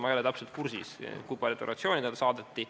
Ma ei ole täpselt kursis, kui paljudele organisatsioonidele see saadeti.